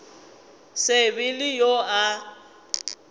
se be le yo a